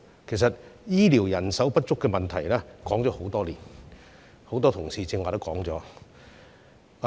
事實上，醫療人手不足的問題，已經討論多年，很多同事剛才亦已指出這點。